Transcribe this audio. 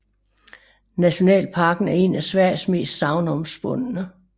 Nationalparken er en af Sveriges mest sagnomspundne